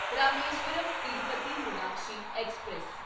Rameswaram Tirupati Meenakshi express